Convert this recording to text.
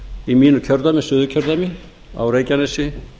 í mínu kjördæmi suðurkjördæmi á reykjanesi